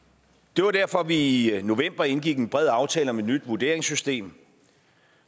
det var derfor vi i i november indgik en bred aftale om et nyt vurderingssystem